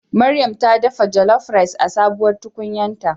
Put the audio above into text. Maryam ta dafa jollof rice a sabuwar tukunyarta.